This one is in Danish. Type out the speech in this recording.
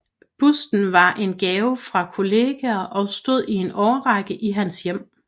Busten var en gave fra kolleger og stod i en årrække i hans hjem